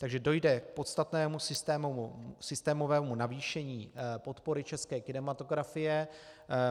Takže dojde k podstatnému systémovému navýšení podpory české kinematografie.